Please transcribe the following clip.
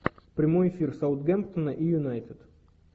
прямой эфир саутгемптона и юнайтед